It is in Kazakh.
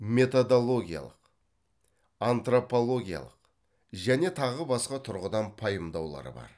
методологиялық антропологиялық және тағы басқа тұрғыдан пайымдаулар бар